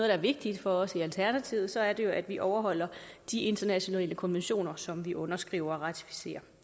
er vigtigt for os i alternativet så er det jo at vi overholder de internationale konventioner som vi har underskrevet og ratificeret